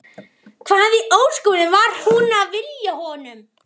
Hvað í ósköpunum var hún að vilja honum?